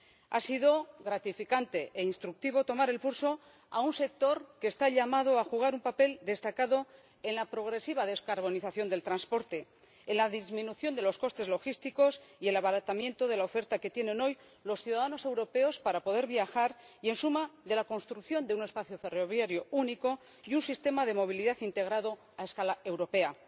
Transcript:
Ha sido gratificante e instructivo tomar el pulso a un sector que está llamado a desempeñar un papel destacado en la progresiva descarbonización del transporte, en la disminución de los costes logísticos y el abaratamiento de la oferta que tienen hoy los ciudadanos europeos para poder viajar y, en suma, en la construcción de un espacio ferroviario único y un sistema de movilidad integrado a escala europea.